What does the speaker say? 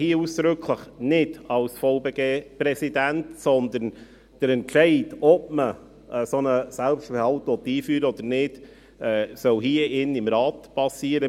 Der Entscheid, ob ein solcher Selbstbehalt eingeführt werden soll oder nicht, soll hier im Rat erfolgen.